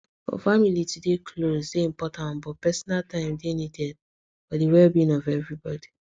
for family to dey close dey important but personal time dey needed for the wellbeing of everybody